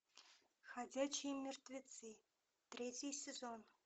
ходячие мертвецы третий сезон